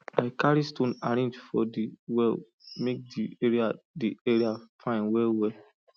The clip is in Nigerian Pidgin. i carry stone arrange for di well make the area the area fine well well